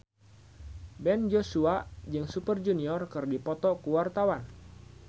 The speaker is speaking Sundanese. Ben Joshua jeung Super Junior keur dipoto ku wartawan